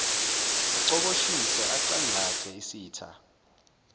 acoboshise acangcathe isitha